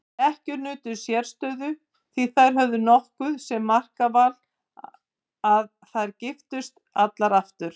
Ekkjur nutu sérstöðu því þær höfðu nokkuð um makaval að segja giftust þær aftur.